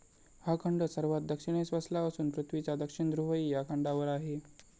हा खंड सर्वात दक्षिणेस वसला असून पृथ्वीचा दक्षिण ध्रुवही या खंडावर आहे.